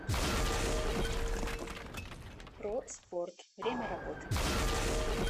про спорт время работы